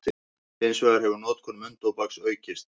Hins vegar hefur notkun munntóbaks aukist.